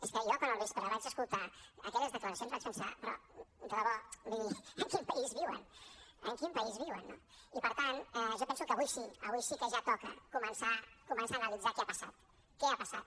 és que jo quan al vespre vaig escoltar aquelles declaracions vaig pensar però de debò en quin país viuen en quin país viuen no i per tant jo penso que avui sí avui sí que ja toca començar a analitzar què ha passat què ha passat